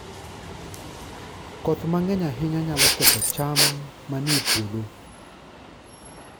Koth mang'eny ahinya nyalo ketho cham manie puodho.